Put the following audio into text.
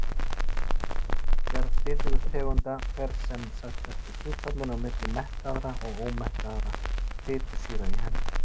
Gerð fitutegunda fer sem sagt eftir hlutfallinu á milli mettaðra og ómettaðra fitusýra í henni.